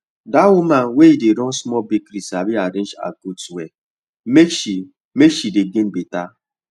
that woman wey dey run small bakery sabi arrange her goods well make she make she dey gain better